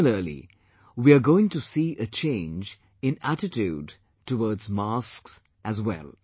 Similarly we are going to see a change in attitude towards masks as well